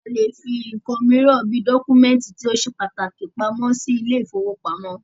A lè fí nǹkan míràn bí dọ́kúmẹ̀ntì tó ṣe pàtàkì pamọ́ sí ilé ìfọwọ́pamo.